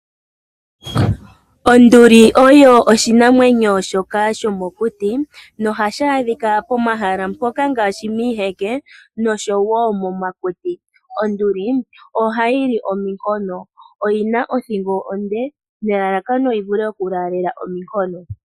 Onduli oyo oshinamwenyo shoka shomokuti nohashi adhika pomahala mpoka ngaashi miiheke noshowo momakuti. Onduli ohayi li ominkono oyina othingo onde nelalakano yi vule oku laalela ominkono.